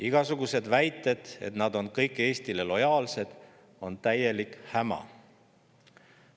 Igasugused väited, et nad on kõik Eestile lojaalsed, on täielik häma.